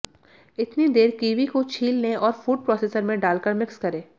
इतनी देर कीवी को छील लें और फूड प्रोसेसर में डालकर मिक्स करें